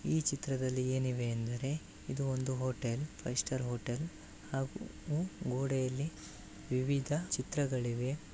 ಈ ಚಿತ್ರದಲ್ಲಿ ಏನಿದೆ ಎಂದರೆ ಇದು ಒಂದು ಹೋಟೆಲ್ ಫೈವ್ ಸ್ಟಾರ್ ಹೋಟೆಲ್ ಗೋಡೆಯಲ್ಲಿ ವಿವಿಧ ಚಿತ್ರಗಳಿಗೆ.